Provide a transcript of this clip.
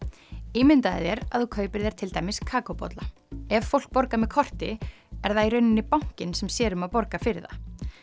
ímyndaðu þér að þú kaupir þér til dæmis kakóbolla ef fólk borgar með korti er það í rauninni bankinn sem sér um að borga fyrir það